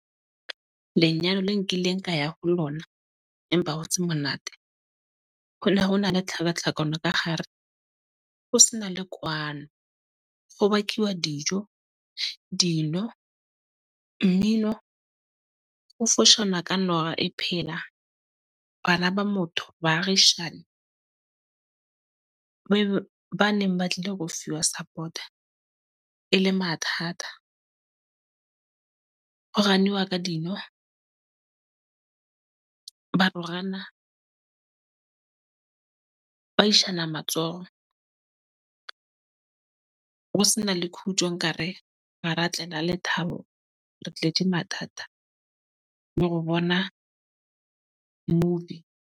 Lenyalo le nkileng ka ya ho lona, empa ho tse monate ho ne ho na le tlhakatlhakano ka gare ho se na le kwano. Ho bakiwa dijo, dino, mmino ho foshana, ka nowa e phela. Bana ba motho baagishane ba ba neng ba tlile ho fuwa support-a e le mathata. Ho ganiwa ka dino. Ba rohana ba ishana matsoho. Ho sena le khutjo, nkare ha ra tlela lethabo, Re tletje mathata le go bona movie.